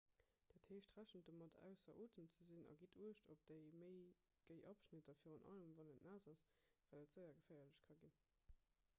dat heescht rechent domat ausser otem ze sinn a gitt uecht op déi méi géi abschnitter virun allem wann et naass ass well et séier geféierlech ka ginn